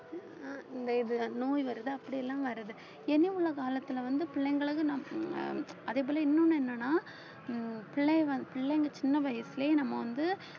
ஆஹ் இந்த இது நோய் வருது அப்படி எல்லாம் வருது இனி உள்ள காலத்துல வந்து பிள்ளைங்களுக்கு நான் அஹ் அதே போல இன்னொன்னு என்னன்னா ஹம் பிள்ளைங்கள் பிள்ளைங்க சின்ன வயசுலயே நம்ம வந்து